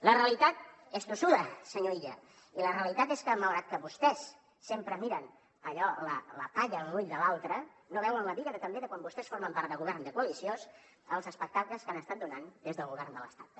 la realitat és tossuda senyor illa i la realitat és que malgrat que vostès sempre miren allò de la palla a l’ull de l’altre no veuen la biga també de quan vostès formen part del govern de coalició els espectacles que han estat donant des del govern de l’estat també